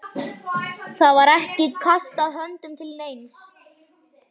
Það var ekki kastað höndum til neins.